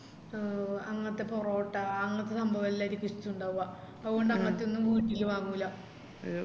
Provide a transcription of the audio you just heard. ഓ അങ്ങത്തെ പൊറോട്ട അങ്ങത്തെ സാംബവല്ലാരിക്കു ഇഷ്ട്ടിണ്ടാവുവാ അത്കൊണ്ട് അങ്ങത്തെ ഒന്നും വീട്ടില് വാങ്ങൂല